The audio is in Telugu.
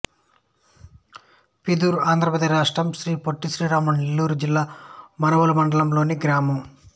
పిదూరు ఆంధ్ర ప్రదేశ్ రాష్ట్రం శ్రీ పొట్టి శ్రీరాములు నెల్లూరు జిల్లా మనుబోలు మండలం లోని గ్రామం